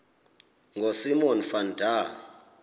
ngosimon van der